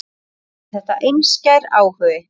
Oft er þetta einskær áhugi.